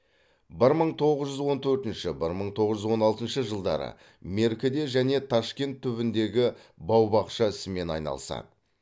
бір мың тоғыз жүз он төртінші бір мың тоғыз жүз он алтыншы жылдары меркіде және ташкент түбіндегі бау бақша ісімен айналысады